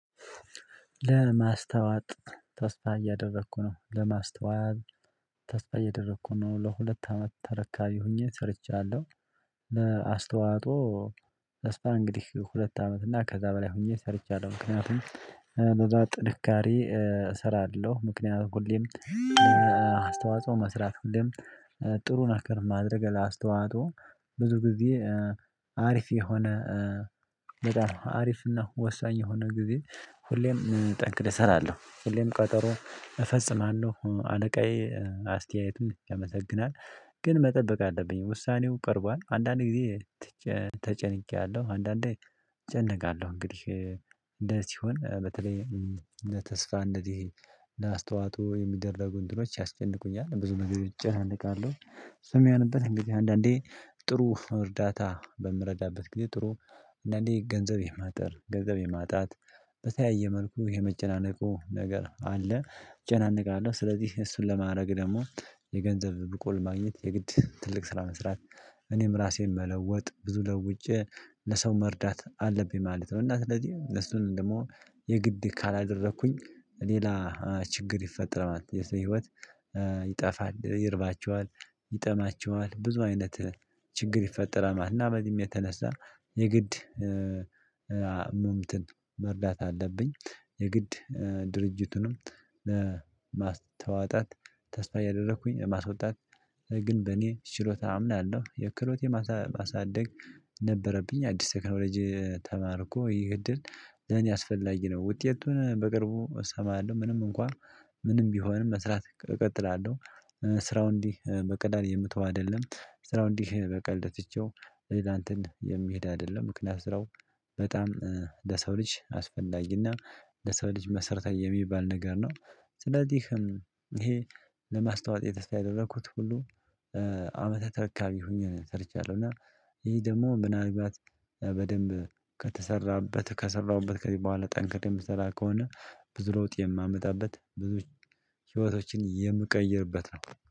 ለማስተዋት ተስፋ እያደረኩ ነው ለማስተዋት ተስፋ እያደረኩ ነው ለሁለት አመት ተረካቢ ሆኜ ሰርቻለሁ። ለአስተዋጦ ለስፓ እንግዲህ ሁለት አመት እና ከዛ በላይ ሆኜ ሰርቻለሁ። ምክንያቱም በዛ ጥንካሬ እሰራለሁ። ምክንያቱም ሁሌም ለአስተዋጽኦ መስራት ጥሩን አከርማ አድርገህ ለአስተዋጽኦ ብዙ ጊዜ አሪፍ የሆነ በጣም አሪፍ እና ወሳኝ የሆነ ጊዜ ሁሌም ጠንክል እሰራለሁ። ሁሌም ቀጠሮ እፈጽማለሁ አለቃዬ አስተያየቱን ያመሰግናል ግን መጠበቅ አለብኝ ውሳኔው ቀርቧል። አንዳንዴ ጊዜ ተጨንቄያለሁ። አንዳንዴ እጨነቃለሁ። እንግዲህ እንደዚህ ሲሆን በተለይ ለተስፋ እንደዚህ ለአስተዋጡ የሚደረጉ እንድኖች ያስጨንቁኛል ብዙ መገደድ ይጨንቃሉ። ስም የሆነበት እንግዲህ አንዳንዴ ጥሩ እርዳታ በምረዳበት ጊዜ ጥሩ እንደኔ ገንዘብ የማጥር ገንዘብ የማጣት በተያየ መልኩ የመጨናነቁ ነገር አለ። ጨናንቃለሁ ስለዚህ እሱን ለማድረግ ደግሞ የገንዘብ ብቁል ማግኘት የግድ ትልቅ ስራ መስራት። እኔም ራሴን መለወጥ ብዙ ለውጬ ለሰው መርዳት አለብኝ ማለት ነው። እና ስለዚህ የሱን ደግሞ የግድ ካላደረኩኝ ሌላ ችግር ይፈጠራል ማለት ነው። የሰው ህይወት ይጠፋል ይርባቸዋል ይጠማቸዋል ብዙ አይነት ችግር ይፈጠራል ማለት ነው። በዚህም የተነሳ የግድ መርዳት አለብኝ። የግድ ድርጅቱንም ለማስተዋጣት ተስፋ ያደረኩኝ ማስወጣት ግን በእኔ ችሎታ አምናለሁ። የክሮቴ ማሳደግ ነበረብኝ አዲስ ተከራው ልጅ ተማርኩ ይገድል ለኔ ያስፈልግነው ውጤቱን በቅርቡ እሰማለሁ። ምንም እንኳን ምንም ቢሆንም መስራት እቀጥላለሁ። ስራው እንዲህ በቀል የምትተው አይደለም። ስራው እንዲህ በቀል ደጥቼው ሌላ እንትን የሚሄድ አይደለም። ምክንያት ስራው በጣም ለሰው ልጅ አስፈላጊና ለሰው ልጅ መሰረታዊ የሚባል ነገር ነው። ስለዚህም ይሄ ለማስታወት የተስተያደረኩት ሁሉ ዓመተ ተርካቢ ሆኜ ሰርቻለሁ። እና ይሄ ደግሞ ምናልባት በደንብ ከተሰራበት ከሰራሁበት ከዚህ በኋላ ጠንክርም ስራ ከሆነ ብዙ ሮጥ የማመጣበት ብዙ ህይወቶችን የምቀይርበት ነው።